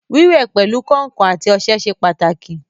Wíwẹ̀ pẹ̀lu kàǹkàn àti ọṣẹ ṣe pàtàkì